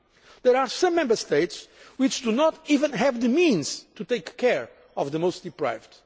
There are some Member States which do not even have the resources to take care of the most deprived.